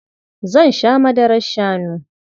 Zan sha madarar shanu.